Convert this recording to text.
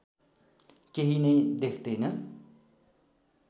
केही नै देख्दैन